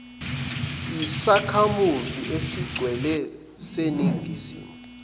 yisakhamuzi esigcwele seningizimu